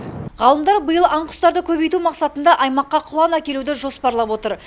ғалымдар биыл аң құстарды көбейту мақсатында аймаққа құлан әкелуді жоспарлап отыр